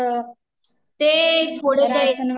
ते थोडेशे